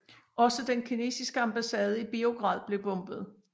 Også den kinesiske ambassade i Beograd blev bombet